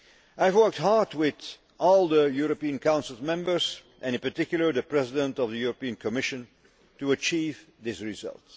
I have worked hard with all the European Council members and in particular the President of the European Commission to achieve this result.